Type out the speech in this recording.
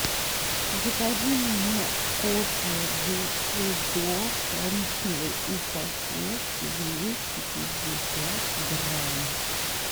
закажи мне кофе бушидо в коричневой упаковке двести пятьдесят грамм